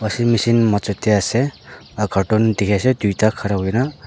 sin mishin major teh ase aa cartoon dikhi ase duita khara hoi na.